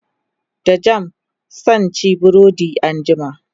da jam sanci burodi anjima